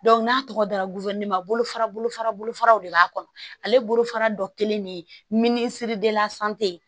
n'a tɔgɔ dara ma bolofara bolofara bolofaraw de b'a kɔnɔ ale bolofara dɔ kelen de minisiri